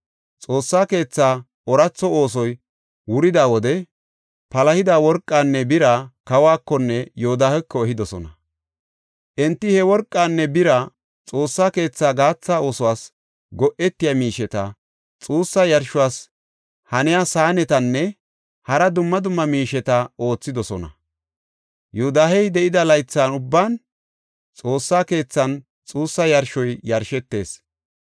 Xoossa keetha ooratho oosoy wurida wode palahida worqanne bira kawuwakonne Yoodaheko ehidosona. Enti he worqanne bira Xoossa keethaa gaatha oosuwas go7etiya miisheta, xuussa yarshos haniya saanetanne hara dumma dumma miisheta oothidosona. Yoodahey de7ida laythan ubban Xoossa keethan xuussa yarshoy yashetees.